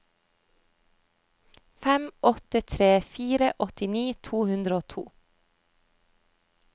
fem åtte tre fire åttini to hundre og to